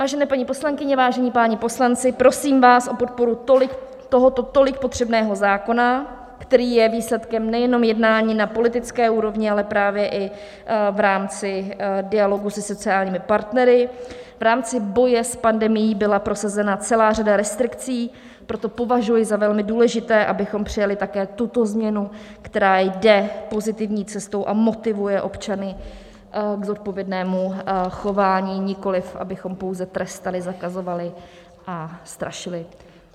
Vážené paní poslankyně, vážení páni poslanci, prosím vás o podporu tohoto tolik potřebného zákona, který je výsledkem nejenom jednání na politické úrovni, ale právě i v rámci dialogu se sociálními partnery, v rámci boje s pandemií byla prosazena celá řada restrikcí, proto považuji za velmi důležité, abychom přijali také tuto změnu, která jde pozitivní cestou a motivuje občany k zodpovědnému chování, nikoliv abychom pouze trestali, zakazovali a strašili.